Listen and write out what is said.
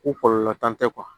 Ko kɔlɔlɔ t'an tɛ